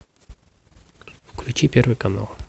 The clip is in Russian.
включи первый канал